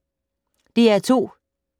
DR2